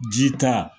Ji ta